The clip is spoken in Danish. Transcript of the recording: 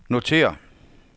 notér